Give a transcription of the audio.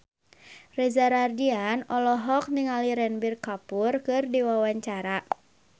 Reza Rahardian olohok ningali Ranbir Kapoor keur diwawancara